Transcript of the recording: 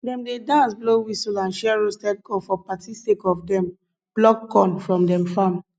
dem dey dance blow whistle and share roasted corn for party sake of dem pluck corn from dem farm